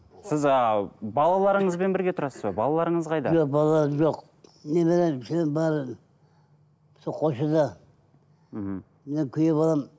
сіз ыыы балаларыңызбен бірге тұрасыз ба балаларыңыз қайда жоқ балаларым жоқ немерем бәрі сол қосшыда мхм менің күйеу балам